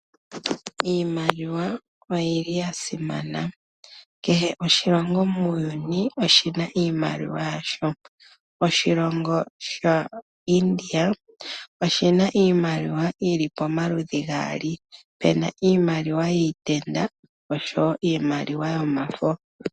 Iimaliwa oyi li ya simana. Kehe oshilongo muuyuni oshi na iimaliwa yasho. Oshilongo shaIndia oshi na iimaliwa yi li pamaludhi gaali, pu na iimaliwa yiitenda oshowo iimaliwa yomafo.